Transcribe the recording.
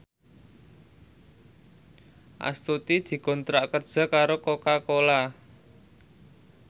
Astuti dikontrak kerja karo Coca Cola